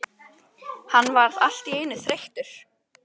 Hann varð allt í einu þreyttur.